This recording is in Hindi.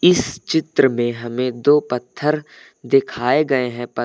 इस चित्र में हमें दो पत्थर दिखाए गए हैं पत--